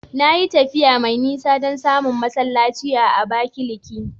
Na yi tafiya mai nisa don samun masallaci a Abakaliki.